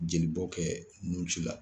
Jelibɔ kɛ nun ci la